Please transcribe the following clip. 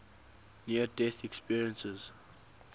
near death experiences